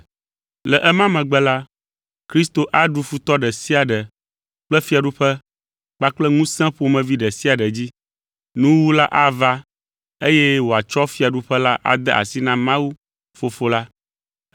Le ema megbe la, Kristo aɖu futɔ ɖe sia ɖe kple fiaɖuƒe kpakple ŋusẽ ƒomevi ɖe sia ɖe dzi. Nuwuwu la ava eye wòatsɔ fiaɖuƒe la ade asi na Mawu, Fofo la.